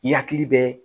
I yakili bɛ